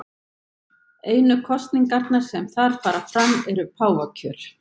Einu kosningarnar sem þar fara fram eru páfakjör.